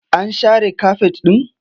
An share kafet ɗin?